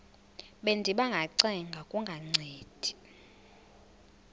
bendiba ngacenga kungancedi